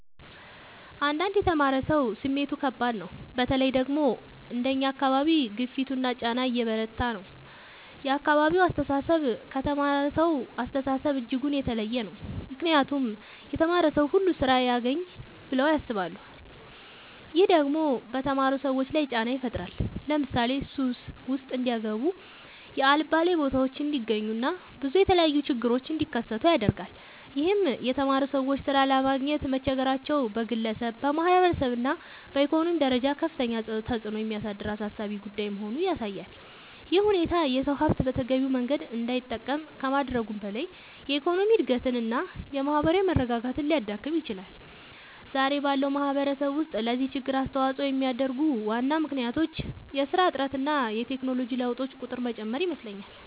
አንዳንድ የተማረ ሰው ስሜቱ ከባድ ነው በተለይ ደግሞ አንደኛ አካባቢ ግፊቱና ጫና የበረታ ነው የአካባቢው አስተሳሰብ ከተማረሳው አስተሳሰብ እጅጉን የተለየ ነው ምክንያቱም የተማረ ሰው ሁሉ ስራ ያግኝ ብለው ያስባሉ። ይህም ደግሞ በተማሩ ሰዎች ላይ ጫና ይፈጥራል ለምሳሌ ሱስ ውስጥ እንዲጋቡ የአልባሌ ቦታዎች እንዲገኙ እና ብዙ የተለያዩ ችግሮች እንዲከሰቱ ያደርጋል ይህም የተማሩ ሰዎች ሥራ ለማግኘት መቸገራቸው በግለሰብ፣ በማህበረሰብ እና በኢኮኖሚ ደረጃ ከፍተኛ ተጽዕኖ የሚያሳድር አሳሳቢ ጉዳይ መሆኑን ያሳያል። ይህ ሁኔታ የሰው ሀብት በተገቢው መንገድ እንዳይጠቀም ከማድረጉም በላይ የኢኮኖሚ እድገትን እና የማህበራዊ መረጋጋትን ሊያዳክም ይችላል። ዛሬ ባለው ማህበረሰብ ውስጥ ለዚህ ችግር አስተዋጽኦ የሚያደርጉ ዋና ምክንያቶች የስራ እጥረት እና የቴክኖሎጂ ለውጦች ቁጥር መጨመር ይመስለኛል